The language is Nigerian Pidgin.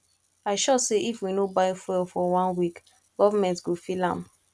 i sure say if we no buy fuel for one week government go feel am